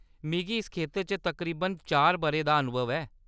मिगी इस खेतर च तकरीबन चार बʼरें दा अनुभव ऐ।